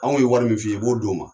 Anw ye wari min f'i ye i b'o di u ma.